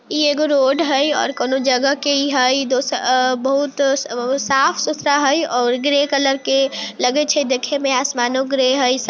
इ एगो रोड हेय और कौने जगह के ई हेय दोष आ बहुत आ साफ सुथरा हेय और ग्रे कलर के लगे छै देखे में आसमानो ग्रे हेय।